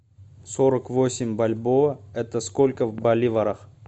сорок восемь бальбоа это сколько в боливарах